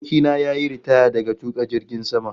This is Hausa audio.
Abokina ya yi ritaya daga tuka jirgin sama